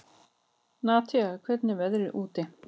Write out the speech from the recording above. Natalí, hvernig er veðrið úti?